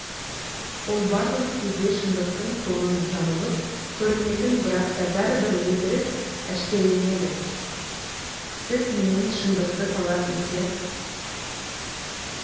ол барлық кезде шындықтың тонын жамылып көрінетін бірақта бәрібір өтірік әшкереленеді сіз менен шындықты талап ете